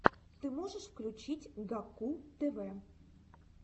ты можешь включить гакку тв